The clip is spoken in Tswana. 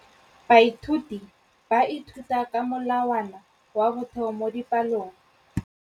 Baithuti ba ithuta ka molawana wa motheo mo dipalong.